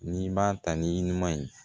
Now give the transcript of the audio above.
N'i b'a ta ni ɲuman ye